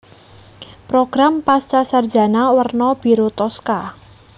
Program Pascasarjana werna biru toska